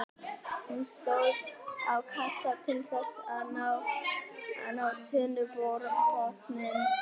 Hún stóð á kassa til þess að ná niður á tunnubotninn.